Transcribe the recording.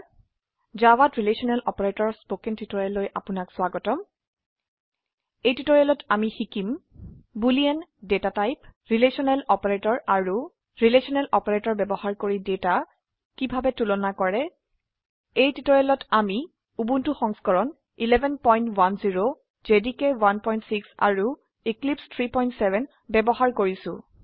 জাভাত ৰিলেশনেল অপাৰেটৰৰ স্পকেন টিউটোৰিয়েলৈ আপনাক স্বাগতম এই টিউটোৰিয়েলত আমি শিকিম boolean data type relational operator আৰু ৰিলেশনেল অপাৰেটৰ ব্যবহাৰ কৰি ডেটা কিভাবে তুলনা কৰে এই টিউটোৰিয়েলতআমি উবুন্টু সংস্কৰণ 1110 জেডিকে 16 আৰু এক্লিপছে 370 ব্যবহাৰ কৰিছো